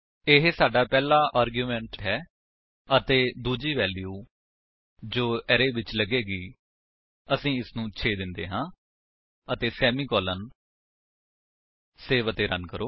ਇਹ ਸਾਡਾ ਪਹਿਲਾ ਆਰਗੁਮੇਂਟਸ ਹੈ ਅਤੇ ਦੂਜੀ ਵੈਲਿਊ ਜੋ ਅਰੇ ਵਿੱਚ ਲੱਗੇਗੀ ਅਸੀ ਇਸਨੂੰ 6 ਦਿੰਦੇ ਹਾਂ ਅਤੇ ਸੇਮੀਕਾਲਨ ਸੇਵ ਅਤੇ ਰਨ ਕਰੋ